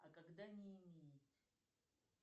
а когда не имеет